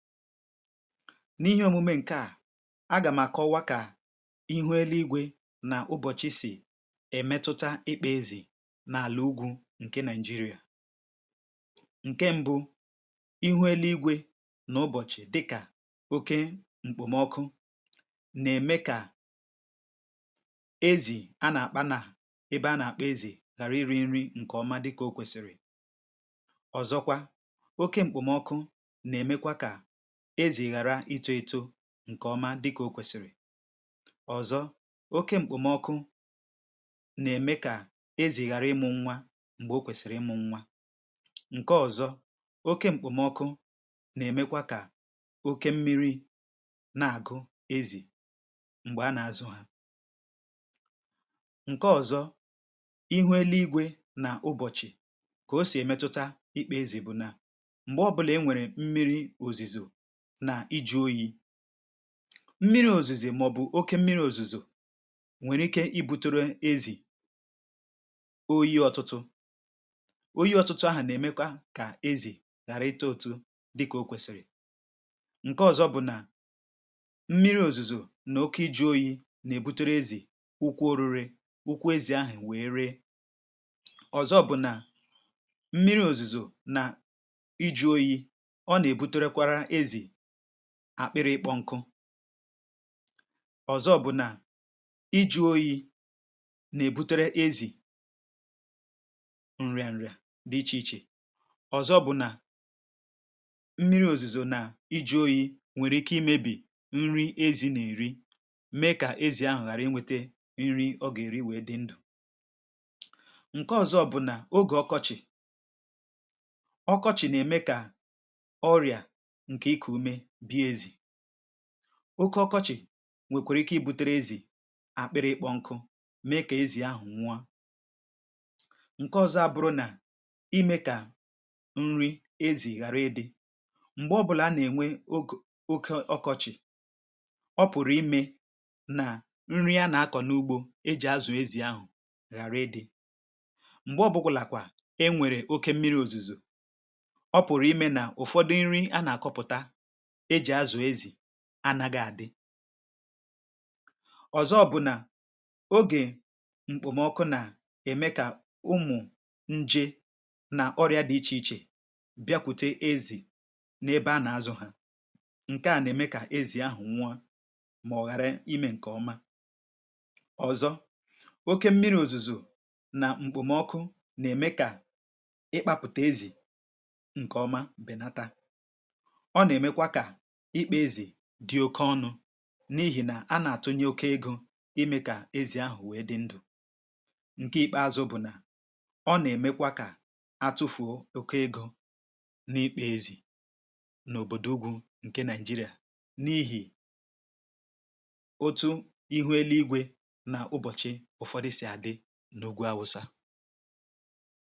N’ihe omume nke a, aga m àkọwa ka ihu elu igwe na ụbọchi si emetụta ịkpà ezì n’àla ugwu nke Naịjiria. Nke mbụ, ihu elu igwe na ụbọchi dịka oke mkpomọkụ na-eme ka ezì a na-akpà n’ebe a na-akpà ezì ghara iri nri nke ọma dịka o kwesiri. Ọzọkwa, oke mkpomọkụ na-emekwa ka anụ ezì ghara ịmụ nwa mgbe kwesiri ịmụ nwa. Nke ọzọ, oke mkpomọkụ na-emekwa ka oke mmiri na-agụ ezì mgbe a na-azụ ha. Nke ọzọ bụ na, ihu elu igwe na ụbọchi, ka o si emetụta ịkpà ezì, bụ na mgbe ọ bụla e nwere mmiri ozuzo, mmiri ozuzo maọbụ oke mmiri ozuzo, nwere ike ibute ezì oyi. Ọtụtụ oyi ahụ na-emekwa ka ezì ghara ịtụ ụtụ dịka o kwesiri. Nke ọzọ bụ na mmiri ozuzo na oke iji oyi na-ebute ezì nnukwu orire, ukwu ezì ahụ nweeree. Ọzọkwa, mmiri ozuzo na iji oyi na-akpụ akpụ na-akpọ ọkụ. Nke ọzọ bụ na iji oyi na-ebute ezì nrià, nrià dị iche iche. Ọzọkwa, nri ozuzo na iji oyi nwere ike imebi nri ezì na-eri, mee ka ezì ahụ ghara inweta nri ọ ga-eri wee dị ndụ. Nke ọzọ bụ na oge ọkọchị, ọkọchị na-eme ka ọrịa oke ọkọchị nwee ike ibute ezì akpụkpọ nkụ, mee ka ezì ahụ nwụọ. Nke ọzọ abụrụ na, ime ka nri ezì ghara ịdị. Mgbe ọ bụla a na-enwe oke ọkọchị, o pụtara ime na nri a na-akọ n’ugbọ eji azù ezì ahụ ghara ịdị. Mgbe ọbụkwaghịkwa e nwere oke mmiri ozuzo, o pụtara ime na ụfọdụ nri a na-akọpụtaghị adị. Ọzọkwa, oge mkpomọkụ na-eme ka ụmụ nje na ọrịa dị iche iche bịakwute ezì n’ebe a na-azụ ha. Nke a na-eme ka ezì ahụ nwụọ ma ghara ime nke ọma. Ọzọkwa, oke mmiri ozuzo na mkpomọkụ na-eme ka ịkpụta ezì nke ọma bịa nata dị oke ọnụ, n’ihi na a na-atunye oke ego ime ka ezì ahụ wee dị ndụ. Nke ikpeazụ bụ na, ọ na-emekwa ka atụfuo oke ego n’ikpà ezì n’obodo ugwu nke Naijiria, n’ihi otu ihu elu igwe na ụbọchi ụfọdụ si adị n’ugwu Aụsa.